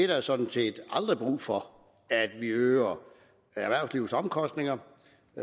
der sådan set aldrig er brug for at vi øger erhvervslivets omkostninger